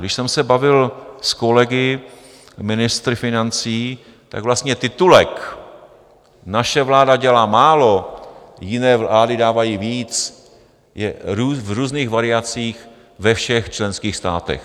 Když jsem se bavil s kolegy ministry financí, tak vlastně titulek "Naše vláda dělá málo, jiné vlády dávají víc" je v různých variacích ve všech členských státech.